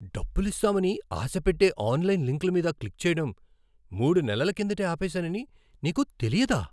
డబ్బులిస్తామని ఆశపెట్టే ఆన్లైన్ లింక్ల మీద క్లిక్ చేయడం మూడు నెలల కిందటే ఆపేసానని నీకు తెలియదా?